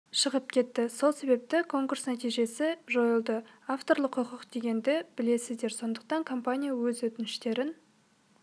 шығып кетті сол себепті конкурс нәтижесі жойылды авторлық құқық дегенді білесіздер сондықтан компания өз өтініштерін